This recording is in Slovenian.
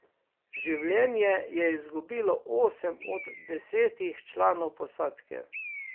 Življenje je izgubilo osem od desetih članov posadke.